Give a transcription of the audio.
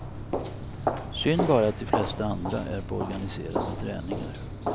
Synd bara att de flesta andra är på organiserade träningar.